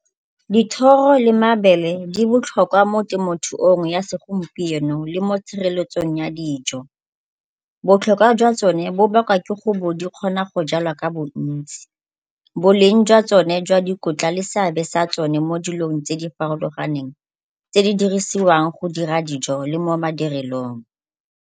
Dithoro le mabele di botlhokwa temothuong ya segompieno le mo tshireletsong ya dijo. Botlhokwa jwa tsone bo bakwa ke gore di kgonwa go jalwa ka bontsi. Boleng jwa tsone jwa dikotla le seabe sa tsone mo dilong tse di farologaneng tse di dirisiwang go dira dijo le mo madirelong.